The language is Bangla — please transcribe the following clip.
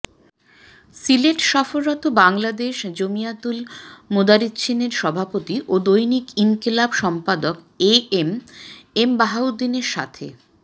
সিলেট সফররত বাংলাদেশ জমিয়াতুল মোদারের্ছীনের সভাপতি ও দৈনিক ইনকিলাব সম্পাদক এ এম এম বাহাউদ্দীনের সাথে